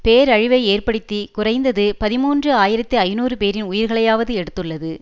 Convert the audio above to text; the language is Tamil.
பேரழிவை ஏற்படுத்தி குறைந்தது பதிமூன்று ஆயிரத்தி ஐநூறு பேரின் உயிர்களையாவது எடுத்துள்ளது